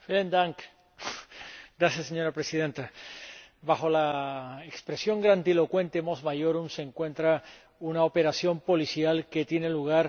Señora Presidenta, bajo la expresión grandilocuente se encuentra una operación policial que tiene lugar no por primera vez.